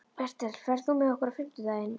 Bertel, ferð þú með okkur á fimmtudaginn?